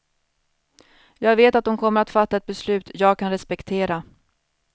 Jag vet att de kommer att fatta ett beslut jag kan respektera.